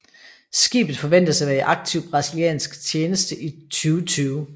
Skibet forventes at være i aktiv brasiliansk tjeneste i 2020